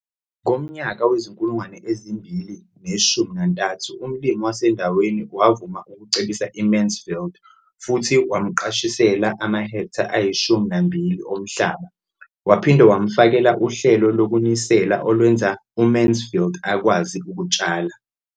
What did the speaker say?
Ngomnyaka wezi-2013, umlimi wasendaweni wavuma ukucebisa uMansfield futhi wamqashisela amahektha ayi-12 omhlaba. Waphinde wamfakela uhlelo lokunisela olwenza uMansfield akwazi ukutshala.